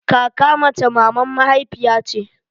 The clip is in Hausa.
Kaka mace maman mahaifiya ce